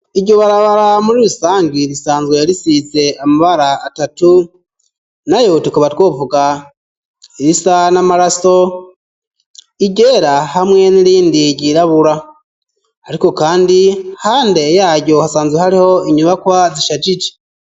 Iryo barabara ,muri rusangi ,risanzwe yarisize amabara atatu ,nayo tukaba twovuga irisa n'amaraso ,iryera, hamwe n'irindi ryirabura ,ariko kandi hande yayo, hasanzwe hariho inyubakwa zisharije.